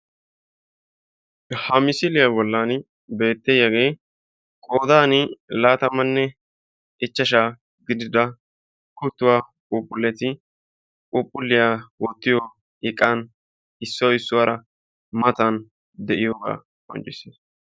Ha misiliyaa bolli beettiyaagee qoodani laattamanne ichchashshaa gidida kuttuwaa puuphphuleti puuphphuliyaa wottiyoo iqan issoy issuwaara matan de'iyoogaa qonccisses.